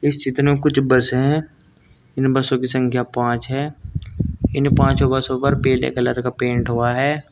कुछ बस है इन बसों की संख्या पांच है इन पांचों बसों पर पीले कलर का पेंट हुआ है।